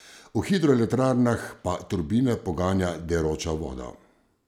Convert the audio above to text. V hidroelektrarnah pa turbine poganja deroča voda.